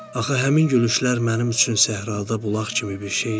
Axı həmin gülüşlər mənim üçün səhrada bulaq kimi bir şey idi.